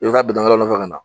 I be taa bitɔn wɛrɛ nɔfɛ kana